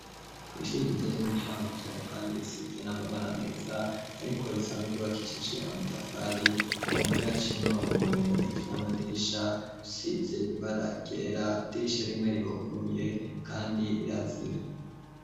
Ku'rishura igiza ry'umucankuzo, kandi risize n'amabana ameza, ariko risanzwe ryobakishije amatafari kumome yaciye umurongo mur muneje n'amadisha usize ibara gera idisha rimwe riruguruye, kandi rirazira.